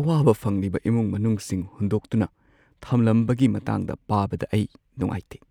ꯑꯋꯥꯕ ꯐꯪꯂꯤꯕ ꯏꯃꯨꯡ-ꯃꯅꯨꯡꯁꯤꯡ ꯍꯨꯟꯗꯣꯛꯇꯨꯅ ꯊꯝꯂꯝꯕꯒꯤ ꯃꯇꯥꯡꯗ ꯄꯥꯕꯗ ꯑꯩ ꯅꯨꯡꯉꯥꯏꯇꯦ ꯫